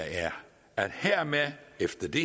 efter det